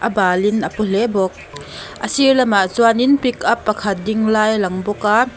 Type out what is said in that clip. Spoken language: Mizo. a bal in a paw hle bawk a sir lam ah chuan in pickup pakhat ding lai a lang bawk a.